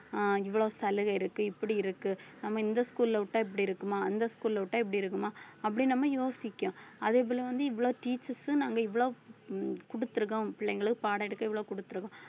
அஹ் இவ்வளவு சலுகை இருக்கு இப்படி இருக்கு நம்ம இந்த school ல விட்டா இப்படி இருக்குமா அந்த school அ விட்டா இப்படி இருக்குமா அப்படி நம்ம யோசிக்கும் அதே போல வந்து இவ்ளோ teachers ம் நாங்க இவ்ளோ குடுத்திருக்கோம் பிள்ளைங்களுக்கு பாடம் எடுக்க இவ்ளோ கொடுத்திருக்கோம்